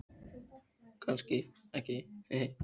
Þakka þér fyrir festina, segir hún.